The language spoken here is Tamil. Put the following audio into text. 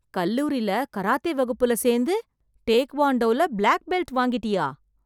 கல்லூரில, கராத்தே வகுப்புல சேர்ந்து, டேக்வாண்டோல ப்ளாக் பெல்ட் வாங்கிட்டியா...